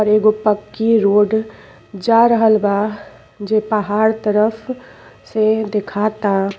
अर् एगो पक्की रोड जा रहल बा जे पहाड़ तरफ से दिखता।